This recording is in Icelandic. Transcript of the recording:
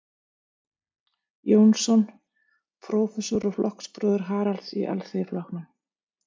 Jónsson, prófessor og flokksbróðir Haralds í Alþýðuflokknum.